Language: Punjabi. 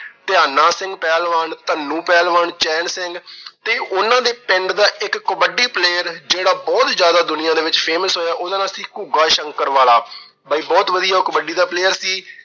ਧਿਆਨਾ ਸਿੰਘ ਪਹਿਲਵਾਨ, ਧਨੂੰ ਪਹਿਲਵਾਨ, ਚਹਿਲ ਸਿੰਘ ਤੇ ਉਹਨਾਂ ਦੇ ਪਿੰਡ ਦਾ ਇਕ ਕਬੱਡੀ player ਜਿਹੜਾ ਬਹੁਤ ਜਿਆਦਾ ਦੁਨੀਆ ਵਿੱਚ famous ਹੋਇਆ, ਉਹਦਾ ਨਾਂ ਸੀ ਘੁੱਗਾ ਸ਼ੰਕਰ ਵਾਲਾ। ਬਾਈ ਬਹੁਤ ਵਧੀਆ ਕਬੱਡੀ ਦਾ player ਸੀ।